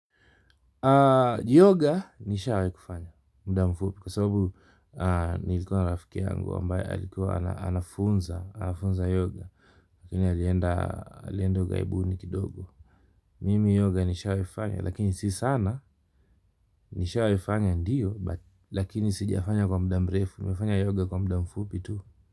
Yoga nishawahi kufanya muda mfupi kwa sababu nilikuwa na rafiki yangu ambaye alikuwa anafunza yoga lakini alienda ugaibuni kidogo mimi yoga nishawahi kufanya lakini si sana nishawahi fanya ndiyo, lakini sijia fanya kwa muda mrefu nimefanya yoga kwa muda mfupi tu.